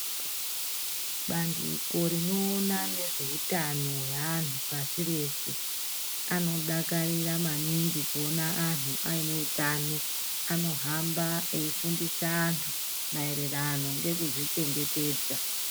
Bandiko rino ona nezve utano ye anhu pasi rese ano dakarira maningi kuona anhu aine utano ano hamba eyi fundisa antu maererano ngekuzvi chengetedza.